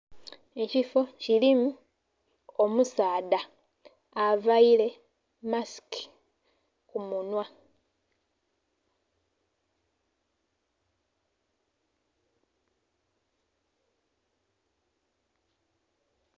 Ekifo kirimu omusaadha avaire masiki kumunhwa.